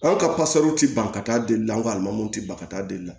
Anw ka ti ban ka taa delila an ka alimamuw te ban ka taa delila